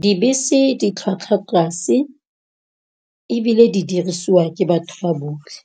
Dibese di tlhwatlhwa tlase, ebile di dirisiwa ke batho ba botlhe.